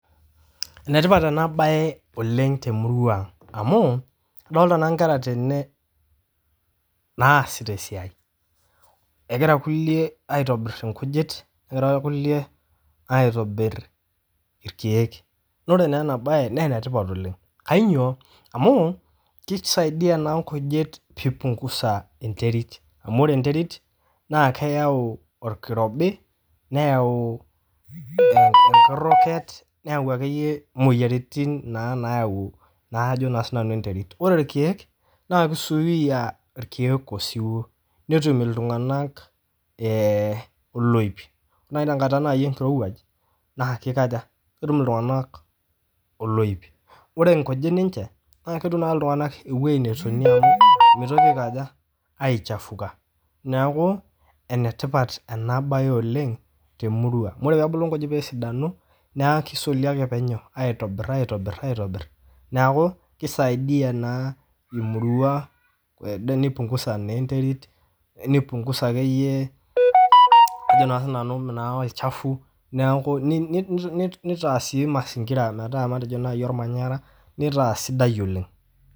Enetipat ena baye oleng te murua ang' amuu idolita naa inkera tene naasita esiai, egira nkule aitobirr nkujit, negira irkule aitobirr irkeek, naa ore naa ena baye naa enetiopat oleng, kanyio, keisaidiya naa nkujit peipungusa interit, amu kore interit naa keyau irkirobi, neyau emkiroget, neyau ake iye imoyiaritin naa nayau naa ajo sii nanu enterit, ore irkeek naa keisuuya irkeek esuwuo netum ltunganak eloip, naa ore te nkata nai enkirewaj, naa keikoja, ketum ltunganak eloip, ore nkujit ninche naa ketum naa ltunganaka eweji netonie amuu meitoki aikoja, aichafuka neaku enetipat enabaye oleng te murua, ore peedulu nkujit peesidanu naa kesuli ake peinyoo aitobirr aitobirr, neaku keisaidia naa murua duo neipungusa naa enterit, neipungusa ake iye ajo sii nanu olchafu naaku neitaa sii mazingira metaa matejo naii olmanyara neitaa sidai oleng.